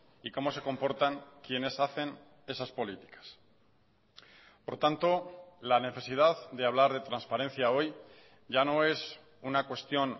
y cómo se comportan quienes hacen esas políticas por tanto la necesidad de hablar de transparencia hoy ya no es una cuestión